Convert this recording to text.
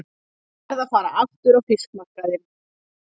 Ég verð að fara aftur á fiskmarkaðinn.